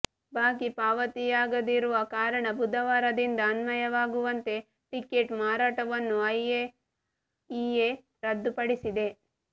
ಬಾಕಿ ಪಾವತಿಯಾಗದಿರುವ ಕಾರಣ ಬುಧವಾರದಿಂದ ಅನ್ವಯವಾಗುವಂತೆ ಟೆಕೆಟ್ ಮಾರಾಟವನ್ನು ಐಎಇಎ ರದ್ದುಪಡಿಸಿದೆ